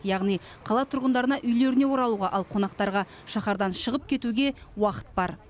яғни қала тұрғындарына үйлеріне оралуға ал қонақтарға шаһардан шығып кетуге уақыт бар